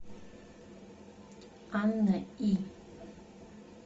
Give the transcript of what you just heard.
анна и